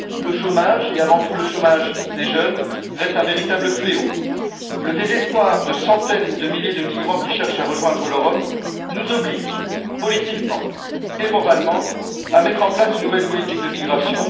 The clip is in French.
Le chômage, et avant tout le chômage des jeunes, reste un véritable fléau. Le désespoir de centaines de milliers de migrants qui cherchent à rejoindre l'Europe nous oblige, politiquement et moralement, à mettre en place une nouvelle politique de migration.